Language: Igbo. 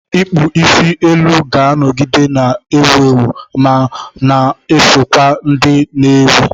Ịkpụ isi elu ga-anọgide na-ewu ewu, ma na-eso kwa ndị na-ewi.